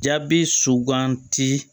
Jaabi suganti